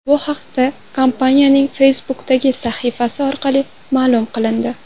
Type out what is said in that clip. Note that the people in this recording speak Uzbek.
Bu haqda kompaniyaning Facebook’dagi sahifasi orqali ma’lum qilindi .